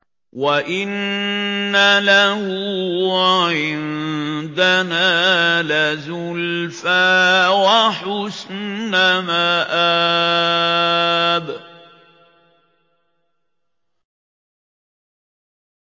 وَإِنَّ لَهُ عِندَنَا لَزُلْفَىٰ وَحُسْنَ مَآبٍ